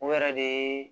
O yɛrɛ de ye